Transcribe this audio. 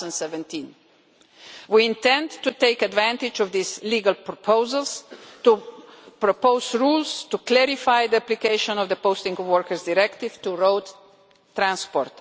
2017. We intend to take advantage of these legal proposals to propose rules to clarify the application of the Posting of Workers Directive to road transport.